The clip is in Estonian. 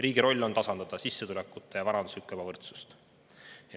Riigi roll on tasandada sissetulekute ja varanduslikku ebavõrdsust.